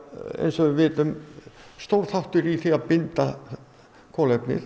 eins og við vitum stór þáttur í því að binda kolefnið